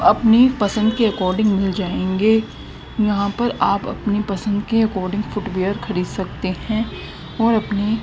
अपनी पसंद के अकॉर्डिंग मिल जाएंगे यहां पर आप अपनी पसंद के अकॉर्डिंग फुटवियर खरीद सकते हैं और अपनी--